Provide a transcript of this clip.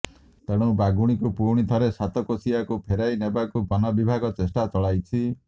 ତେଣୁ ବାଘୁଣୀକୁ ପୁଣି ଥରେ ସାତକୋଶିଆକୁ ଫେରାଇ ନେବାକୁ ବନବିଭାଗ ଚେଷ୍ଟା ଚଳାଇଛି